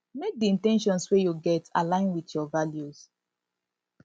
make di in ten tions wey you get align with your values